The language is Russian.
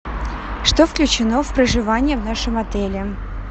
что включено в проживание в нашем отеле